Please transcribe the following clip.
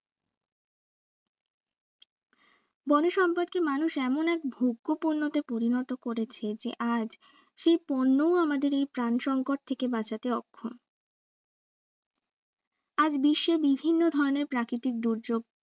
বনসম্পদ কে মানুষ এমন এক ভোগ্য পণ্যতে পরিণত করেছে আজ সেই পণ্যও আমাদের প্রাণসংঙ্কট থেকে বাঁচতে অক্ষম আজ বিশ্বে বিভিন্ন ধরণের প্রাকৃতিক দুর্যোগ